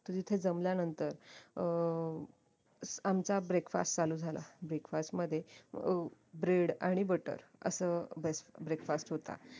तर तिथे जमल्यानंतर अं आमचा breakfast चालू झाला breakfast मध्ये अं bread आणि butter असं breakfast होता